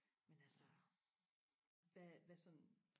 men altså hvad hvad sådan